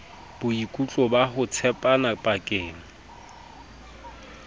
boikutlo ba ho tshepana pakeng